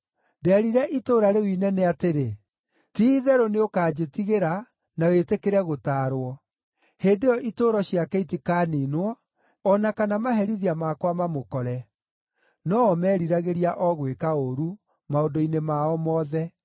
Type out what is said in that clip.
Ndeerire itũũra rĩu inene atĩrĩ, ‘Ti-itherũ nĩũkanjĩtigĩra, na wĩtĩkĩre gũtaarwo!’ Hĩndĩ ĩyo itũũro ciake itikaniinwo, o na kana maherithia makwa mamũkore.” No o meeriragĩria o gwĩka ũũru maũndũ-inĩ mao mothe.